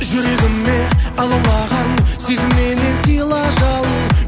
жүрегіме алаулаған сезімменен сыйла жалын